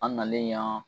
An nalen yan